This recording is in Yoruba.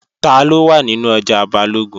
Taló wà nínú ọjà Balógun?